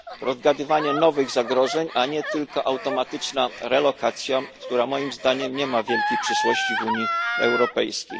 odgadywanie nowych zagrożeń, a nie tylko automatyczna relokacja, która moim zdaniem nie ma wielkiej przyszłości w Unii Europejskiej.